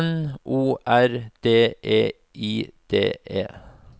N O R D E I D E